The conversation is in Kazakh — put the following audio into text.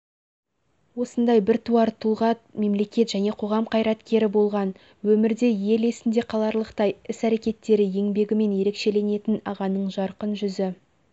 осындай біртуар тұлға мемлекет және қоғам қайраткері болған өмірде ел есіндей қаларлықтай іс-әрекеттері еңбегімен ерекешеленетін ағаның жарқын жүзі